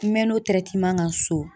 N mɛn'o kan so.